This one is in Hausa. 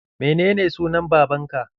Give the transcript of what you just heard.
Menene sunan babanka?